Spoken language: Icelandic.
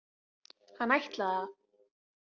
Hann ætlaði að.